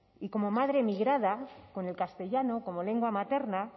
y como madre migrada con el castellano como lengua materna